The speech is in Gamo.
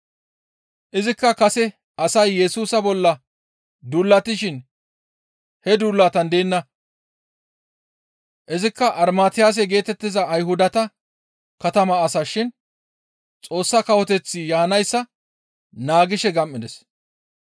Izikka kase asay Yesusa bolla duulatishin he duulatan deenna; izikka Armatiyase geetettiza Ayhudata katama asa shin Xoossa Kawoteththi yaanayssa naagishe gam7ides.